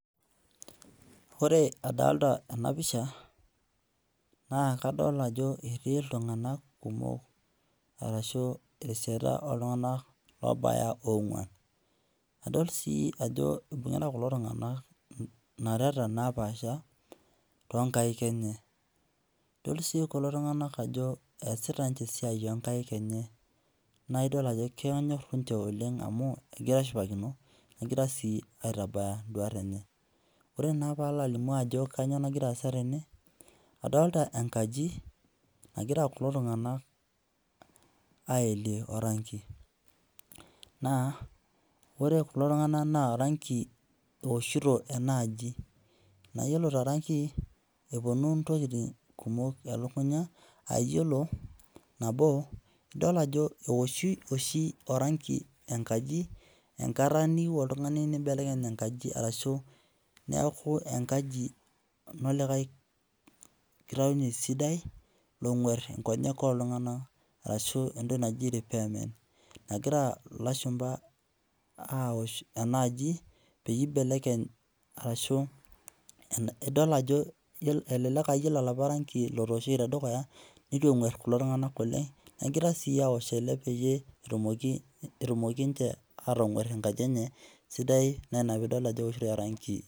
Ore adolita ena pisha naa kadol ajo etii iltung'anak kumok ashu esiana oltung'anak oobaya oong'wan. Nadol sii ajo ibung'ita kulo tung'anak nareta napaasha toonkaik enye. Idol sii kulo tung'anak ajo eesita ninche esiai onkaik enye naa idol ajo kenyorr ninche oleng amu kegira aashipakino negira sii aitabaya indwat enye. Ore naa paalo alimu ajo kanyoo nagira aasa tene, adolita enkaji nagira kulo tung'anak aelie oranki. Naa ore kulo tung'anak naa oranki eoshito enaaji. Naa iyiolo toranki, epwonu ntokiting kumok elukunya aa iyiolo nabo, idol ajo eoshi oshi oranki enkaji enkata niyieu oltung'ani nimbelekeny enkaji arashu neeku enkaji enolikae kitaunye sidai long'warr nkonyek ooltung'anak arashu entoki naji repairment nagira ilashumpa aaosh enaji peyie ibelekeny arashu idol ajo elelek aa iyiolo oloopa ranki lotoosho tedukuya netu eng'warr kulo tung'anak oleng negira sii aosh ele peyie etumoki ninche atang'warr enkaji enye sidai naa ina piidol ajo eoshitoi oranki